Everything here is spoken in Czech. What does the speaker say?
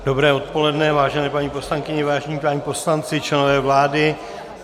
Dobré odpoledne, vážené paní poslankyně, vážení páni poslanci, členové vlády.